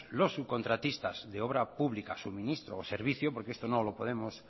los subcontratistas de obra pública suministro o servicio porque esto no podemos